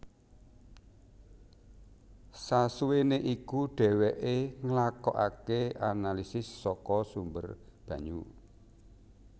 Sasuwene iku dheweke nglakokake analisis saka sumber banyu